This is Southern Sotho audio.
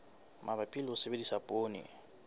mabapi le ho sebedisa poone